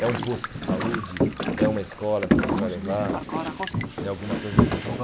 É um posto de saúde, é uma escola que você vai levar, é alguma coisa desse tipo.